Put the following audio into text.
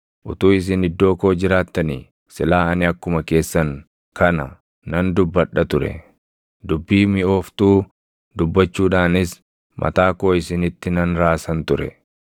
Utuu isin iddoo koo jiraattanii silaa ani akkuma keessan kana nan dubbadha ture; dubbii miʼooftuu dubbachuudhaanis mataa koo isinitti nan raasan ture.